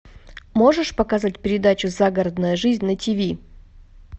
можешь показать передачу загородная жизнь на тиви